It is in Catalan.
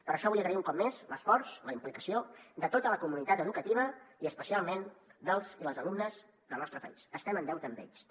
per això vull agrair un cop més l’esforç la implicació de tota la comunitat educativa i especialment dels i les alumnes del nostre país estem en deute amb ells també